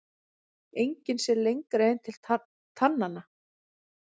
Enginn sér lengra en til tannanna.